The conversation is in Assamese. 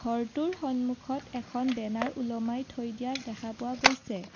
ঘৰটোৰ সন্মুখত এখন বেনাৰ ওলমাই থৈ দিয়া দেখা পোৱা গৈছে।